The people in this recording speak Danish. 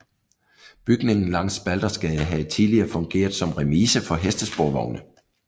Bygningen langs Baldersgade havde tidligere fungeret som remise for hestesporvogne